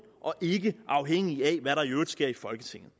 og ikke afhængig af hvad der i øvrigt sker i folketinget